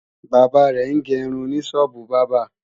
Bàbá rẹ̀ ń ge irun ní sọ́ọ́bù bábà